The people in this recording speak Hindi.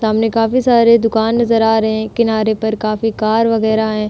सामने काफी सारे दुकान नजर आ रहे है किनारे पर काफी कार वगैरह हैं।